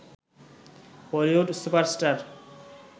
Bollywood super star